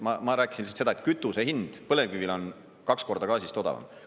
Ma rääkisin seda, et kütuse hind põlevkivil on kaks korda gaasist odavam.